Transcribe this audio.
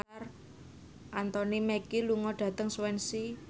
Anthony Mackie lunga dhateng Swansea